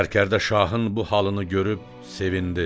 Sərkərdə şahın bu halını görüb sevindi.